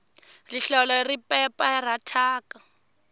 rihlelo ri pepera thyaka